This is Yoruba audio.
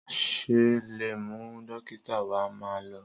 Sà lẹ mú dìkódà wà mà lo?